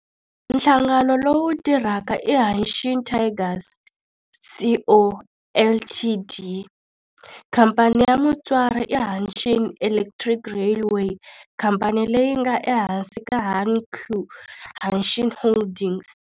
Nhlangano lowu tirhaka i Hanshin Tigers Co., Ltd. Khamphani ya mutswari i Hanshin Electric Railway, khamphani leyi nga ehansi ka Hankyu Hanshin Holdings.